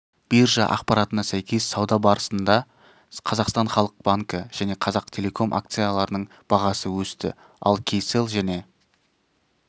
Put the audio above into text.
биржа ақпаратына сәйкес сауда барысында қазақстан халық банкі және қазақтелеком акцияларының бағасы өсті ал кселл және